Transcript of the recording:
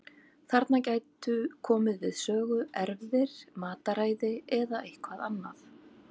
Þarna gætu komið við sögu erfðir, mataræði eða eitthvað annað.